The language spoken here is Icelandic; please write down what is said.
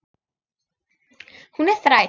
Hún er þræll.